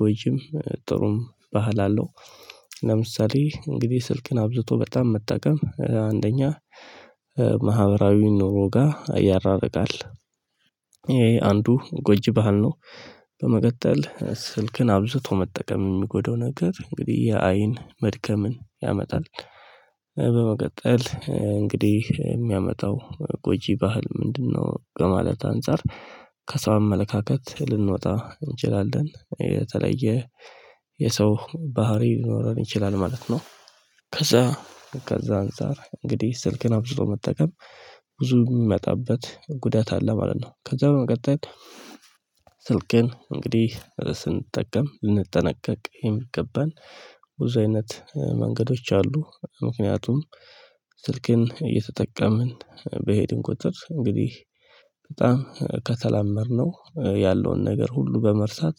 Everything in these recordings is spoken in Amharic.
ጎጅም ጥሩም ባህል አለው። ለምሳሌ እንግዲህ ስልክን አብዝቶ በጣም መጠቀም አንደኛ ማህበራዊ ኑሮ ጋር ያራረቃል። ይሄ አንዱ ጎጅ ባህል ነው። በመቀጠል ስልክን አብዝቶ መጠቀም የሚጎዳው ነገር እንግዲህ የአይን መድከምን ያመጣል። በመቀጠል እንግዲህ የሚያመጣው ጎጂ ባህል ምንድነው? በማለት አንፃር ከሰው አመለካከት ልንወጣ እንችላለን የተለየ የሰው ባህሪ ሊኖረን ይችላል ማለት ነው። ከዛ ከዛ አንፃር እንግዲህ ስልክን አብዝቶ መጠቀም ብዙ የሚመጣበት ጉዳት አለ ማለት ነው። ከዛ በመቀጠል ስልክን እንግዲህ ስንጠቀም ልንጠነቀቅ የሚገባን ብዙ አይነት መንገዶች አሉ። ምክንያቱም ስልክን እየተጠቀምን በሄድን ቁጥር እንግዲህ በጣም ከተላመድነው ያለውን ነገር ሁሉ በመርሳት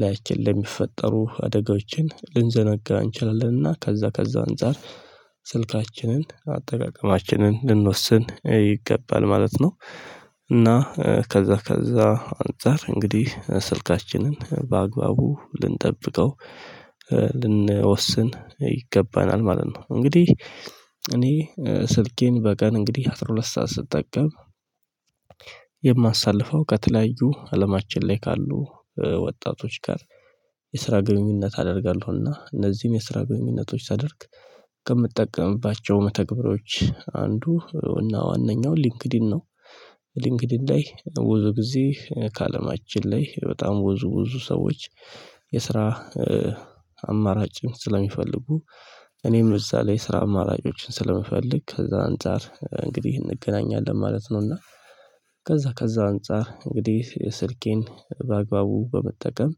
ላያችን ለሚፈጠሩ አደጋዎችን ልንዘነጋ እንችላለን እና ከዛ ከዛ አንፃር ስልካችንን አጠቃቀማችንን ልንወስን ይገባል ማለት ነው። እና ከዛ ከዛ አንፃር እንግዲህ ስልካችንን በአግባቡ ልንጠብቀው ልንወስን ይገባናል ማለት ነው። እንግዲህ እኔ ስልኬን በቀን እንግዲህ አስራ ሁለት ሰዓት ስጠቀም የማሳልፈው ከተለያዩ አለማችን ላይ ካሉ ወጣቶች ጋር የስራ ግንኙነት አደርጋለሁ እና እነዚህም የስራ ግንኙነቶች ሳደርግ ከምትጠቀምባቸው መተግበሪያዎች አንዱ ዋናኛው ሊንክዲን ነው። ሊንግዲን ላይ ብዙ ጊዜ ከአለማችን ላይ በጣም ብዙ ብዙ ሰዎች የስራ አማራጭም ስለሚፈልጉ እኔም እዛ ላይ ስራ አማራጮችን ስለምፈልግ ከዛ አንፃር እንግዲህ እንገናኛለን ማለት ነው። እና ከዛ ከዛ አንፃር እንግዲህ ስልኬን በአግባቡ በመጠቀም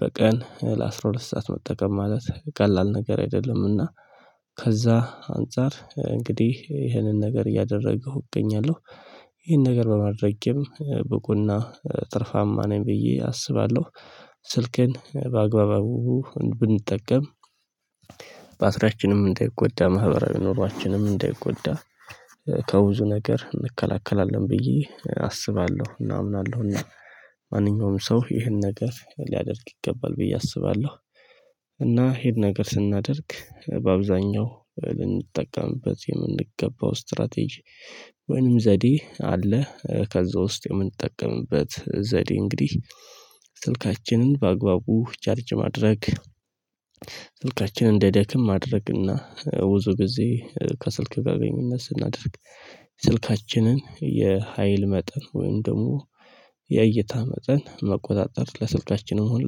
በቀን ለአስራ ሁለት ሰዓት መጠቀም ማለት ቀላል ነገር አይደለምና። ከዛ አንፃር እንግዲህ ይህንን ነገር እያደረገሁ እገኛለሁ። ይህን ነገር በማድረጌም ብቁና ትርፋማ ነኝ ብዬ አስባለሁ። ስልክን በአግባቡ ብንጠቀም ባትሪያችንም እንደይጎዳ ማህበራዊ ኑሯችንም እንዳይጎዳ ከብዙ ነገር እንከላከላለን ብዬ አስባለሁ እና አምናለሁ እና ማንኛውም ሰው ይሄን ነገር ሊያደርግ ይገባል ብዬ አስባለሁ። እና ይሄን ነገር ስናደርግ በአብዛኛው ልንጠቀምበት የምንገባው ስትራቴጂ ወይንም ዘዴ አለ። ከዛ ውስጥ የምንጠቀምበት ዘዴ እንግዲህ ስልካችንን በአግባቡ ቻርጅ ማድረግ ስልካችንን እንዳይደክም ማድረግና ብዙ ጊዜ ከስልክ ጋር ግንኙነት ስናደርግ ስልካችንን የሀይል መጠን ወይም ደግሞ የእይታ መጠን መቆጣጠር ለስካልካችን ሆነ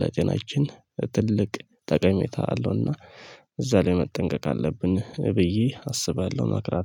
ለጤናችን ትልቅ ጠቀሜታ አለውና። እዛ ላይ መጠንቀቅ አለብን ብዬ አስባለሁ። እመክራሁ